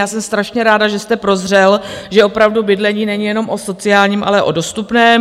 Já jsem strašně ráda, že jste prozřel, že opravdu bydlení není jenom o sociálním, ale o dostupném.